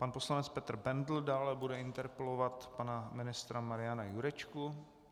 Pan poslanec Petr Bendl dále bude interpelovat pana ministra Mariana Jurečku.